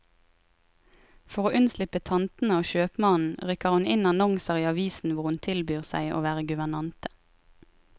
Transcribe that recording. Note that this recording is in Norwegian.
For å unnslippe tantene og kjøpmannen, rykker hun inn annonser i avisen hvor hun tilbyr seg å være guvernante.